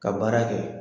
Ka baara kɛ